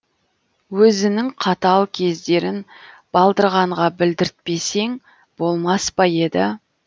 өзінің қатал кездерін балдырғанға білдіртпесең болмас па еді